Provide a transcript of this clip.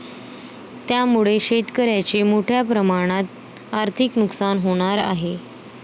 त्यामुळे शेतकऱ्यांचे मोठ्या प्रमाणात आर्थिक नुकसान होणार आहे.